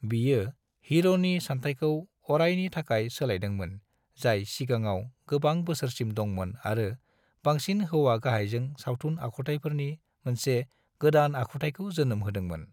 बियो हिर'नि सानथायखौ अरायनि थाखाय सोलायदोंमोन जाय सिगांआव गोबां बोसोरसिम दंमोन आरो बांसिन हौवा गाहायजों सावथुन आखुथायफोरनि मोनसे गादान आखुथायखौ जोनोम होदोंमोन।